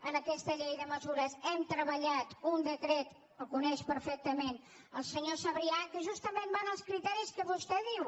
en aquesta llei de mesures hem treballat un de·cret el coneix perfectament el senyor sabrià que justament va als criteris que vostè diu